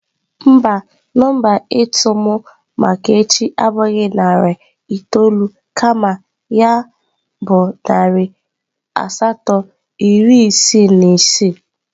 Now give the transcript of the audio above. Mba, nọmba ịtụ m maka echi abụghị narị itoolu kama ya asatọ iri isii na isii